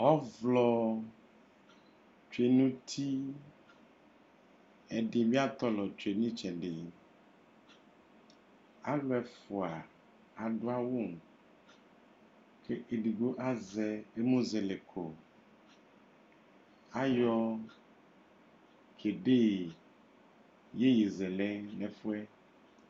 Ɔvlɔ tsue nu uti ɛdibi atɔlɔ tsue nu itsɛdi alu ɛfua adu awu ɔluedigbo azɛ emu zɛlɛ kɔ ayɔ tsebe yeye zɛlɛ nu ɛfuɛ